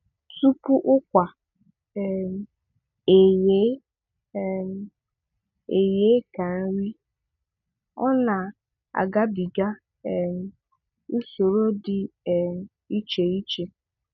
Tupu ụkwa um eghee um eghee ka nri, ọ na-agabiga um usoro dị um iche ichè.